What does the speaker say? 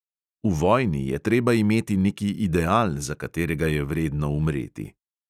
V vojni je treba imeti neki ideal, za katerega je vredno umreti.